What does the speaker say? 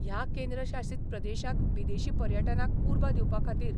ह्या केंद्र शासित प्रदेशांत विदेशी पर्यटनाक उर्बा दिवपा खातीर